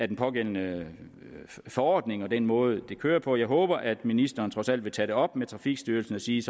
den pågældende forordning og den måde det kører på at jeg håber at ministeren trods alt vil tage det op med trafikstyrelsen og sige